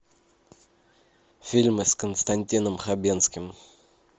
фильмы с константином хабенским